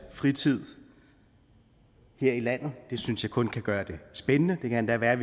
fritid her i landet det synes jeg kun kan gøre det spændende det kan endda være